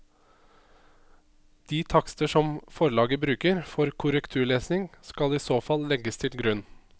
De takster som forlaget bruker for korrekturlesing skal i så fall legges til grunn.